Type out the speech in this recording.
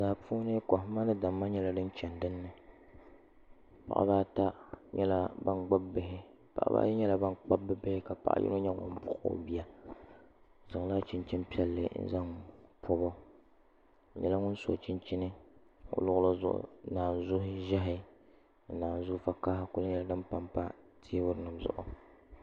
Daa puuni kohamma ni damma nyɛla din chɛni dinni paɣaba ata nyɛla ban gbubi bihi paɣaba ayi nyɛla ban kpabi bi bihi ka paɣa yino nyɛ ŋun buɣi o bia o zaŋla chinchin piɛlli n zaŋ kpabo o nyɛla ŋun so chinchin o luɣuli zuɣu naanzu ʒiɛhi ni naanzu kaha nyɛla din panpa teebuli zuɣu